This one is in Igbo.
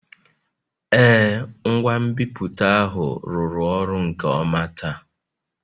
Ee, ngwa nbipute ahụ rụrụ ọrụ nke ọma taa